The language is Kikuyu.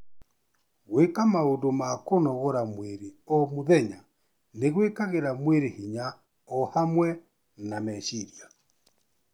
Gwĩka maũndũ ma kũnogora mwĩrĩ o mũthenya nĩ gwĩkagĩra mwĩrĩ hinya o hamwe na meciria.